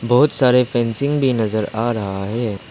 बहुत सारे फेंसिंग बी की नजर आ रहा है।